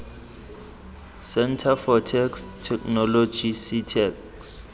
centre for text technology ctext